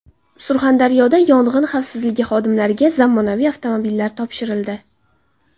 Surxondaryoda Yong‘in xavfsizligi xodimlariga zamonaviy avtomobillar topshirildi.